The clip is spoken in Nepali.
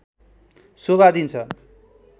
शोभा दिन्छ